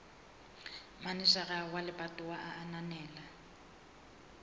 manejara wa lebatowa a ananela